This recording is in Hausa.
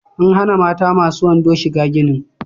An hana mata masu wando shiga ginin